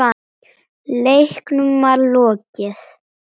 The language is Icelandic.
Leiknum var lokið.